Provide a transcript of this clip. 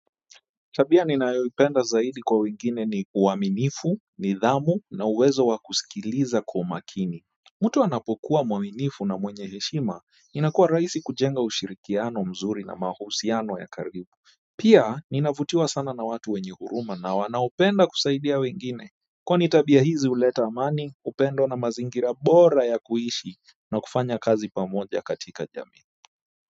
Tabia ninayoipenda zaidi kwa wengine ni uaminifu nidhamu na uwezo wa kusikiliza kwa makini Mtu anapokuwa mwaminifu na mwenye heshima inakuwa rahisi kujenga ushirikiano mzuri na mahusiano ya karibu pia ninavutiwa sana na watu wenye huruma na wanaopenda kusaidia wengine kwani tabia hizi huleta amani upendo na mazingira bora ya kuishi na kufanya kazi pamoja katika jamii.